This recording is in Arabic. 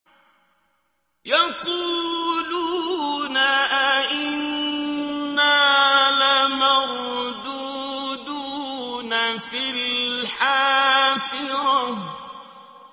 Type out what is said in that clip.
يَقُولُونَ أَإِنَّا لَمَرْدُودُونَ فِي الْحَافِرَةِ